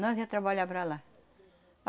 Nós ia trabalhar para lá.